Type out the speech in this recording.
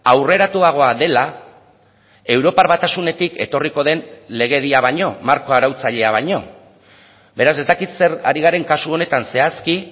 aurreratuagoa dela europar batasunetik etorriko den legedia baino marko arautzailea baino beraz ez dakit zer ari garen kasu honetan zehazki